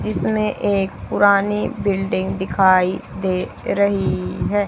इसमें एक पुरानी बिल्डिंग दिखाई दे रही है।